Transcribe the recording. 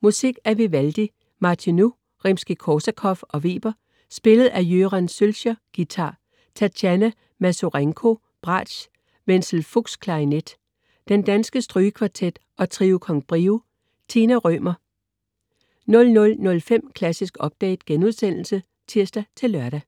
Musik af Vivaldi, Martinu, Rimskij-Korsakov og Weber spillet af Göran Söllscher, guitar, Tatjana Masurenko, bratsch, Wenzel Fuchs, klarinet, Den danske Strygekvartet og Trio con Brio. Tina Rømer 00.05 Klassisk Update* (tirs-lør)